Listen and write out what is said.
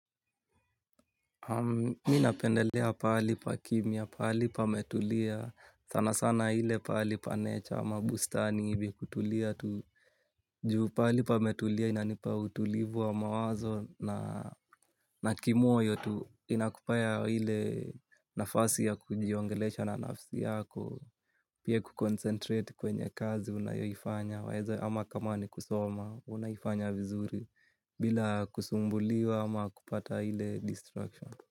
Mi napendelea pahali pa kimya, pahali pametulia, sana sana ile pahali pa nature ama bustani hivi kutulia tu juu pahali pametulia inanipa utulivu wa mawazo na kimoyo tu inakupea ile nafasi ya kujiongelesha na nafsi yako, pia kuconcentrate kwenye kazi unayoifanya waeza ama kama ni kusoma unaifanya vizuri bila kusumbuliwa ama kupata ile destruction.